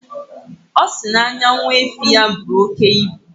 Ọ sị na anya nwa efi ya buru oke ibu.